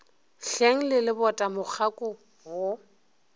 hleng le lebota mokgako wo